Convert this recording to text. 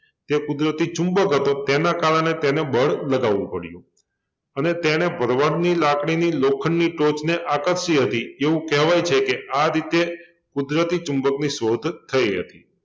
તે કુદરતી ચુંબક હતો તેના કારણે તેને બળ લગાડવુ પડ્યું અને તેણે ભરવાડની લાકડીની લોખંડની ટોચને આકર્ષી હતી એવું કહેવાય છે કે આ રીતે કુદરતી ચુંબકની શોધ થઈ હતી